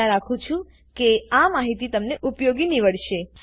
આશા રાખું છું કે આ માહિતી તમને ઉપયોગી નીવડશે